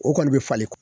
O kɔni bɛ falen